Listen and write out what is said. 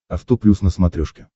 авто плюс на смотрешке